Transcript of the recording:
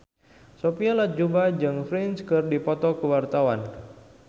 Sophia Latjuba jeung Prince keur dipoto ku wartawan